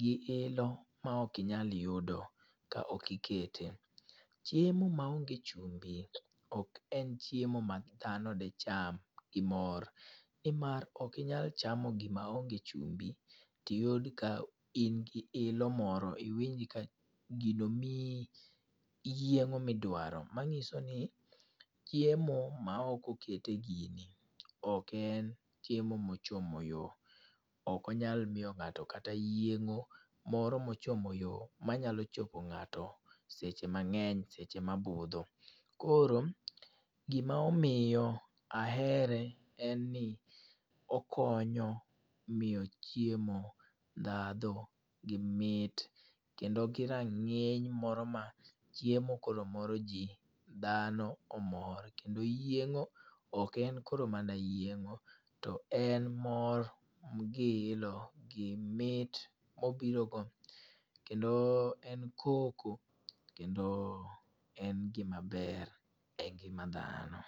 gi ilo ma ok inyal yudo ka okikete. Chiemo ma onge chumbi ok en chiemo ma dhano di cham gi mor. Ni mar, okinyal chamo gima onge chumbi, to iyud ka in gi ilo moro, to iwinj ka gino mii yiengó ma idwaro. Manyiso ni chiemo ma ok okete gini ok en chiemo ma ochomo yo. Ok onyal miyo ngáto kata yiengó moro ma ochomo yo, manyalo chopo ngáto seche mangény, seche ma budho. Koro gima omiyo ahere en ni, okonyo miyo chiemo ndhadhu gi mit, kendo gi rangíny moro ma chiemo koro moro ji, dhano omor. Kendo yiengó, ok en koro mana yiengó to en mor, gi ilo, gi mit mobiro go. Kendo en koko, kendo en gima ber e ngima dhano.